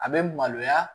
A bɛ maloya